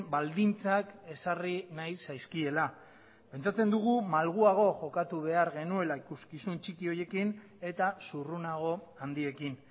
baldintzak ezarri nahi zaizkiela pentsatzen dugu malguago jokatu behar genuela ikuskizun txiki horiekin eta zurrunago handiekin